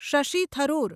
Shashi Tharoor